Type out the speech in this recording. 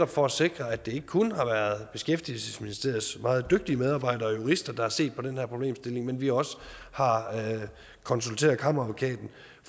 for at sikre at det ikke kun har været beskæftigelsesministeriets meget dygtige medarbejdere og jurister der har set på den her problemstilling at vi også har konsulteret kammeradvokaten